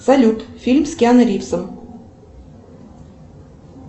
салют фильм с киану ривзом